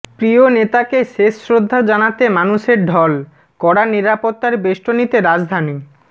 প্রিয় নেতাকে শেষ শ্রদ্ধা জানাতে মানুষের ঢল কড়া নিরাপত্তার বেষ্টনীতে রাজধানী